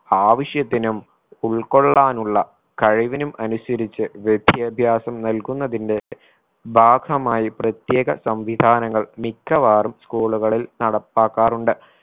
ആവശ്യത്തിനും ഉൾക്കൊള്ളാനുള്ള കഴിവിനും അനുസരിച്ച് വിദ്യാഭ്യാസം നൽകുന്നതിന്റെ ഭാഗമായി പ്രത്യേക സംവിധാനങ്ങൾ മിക്കവാറും school കളിൽ നടപ്പാക്കാറുണ്ട്.